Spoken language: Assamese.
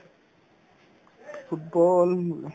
football উম